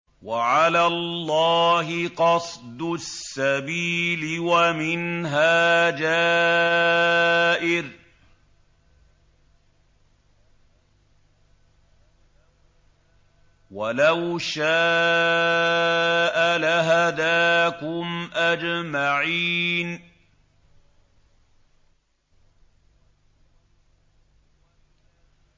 وَعَلَى اللَّهِ قَصْدُ السَّبِيلِ وَمِنْهَا جَائِرٌ ۚ وَلَوْ شَاءَ لَهَدَاكُمْ أَجْمَعِينَ